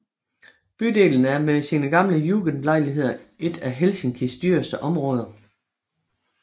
Bydelen er med sine gamle jugendlejligheder et af Helsinkis dyreste områder